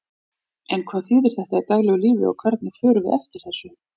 En hvað þýðir þetta í daglegu lífi og hvernig förum við eftir þessu?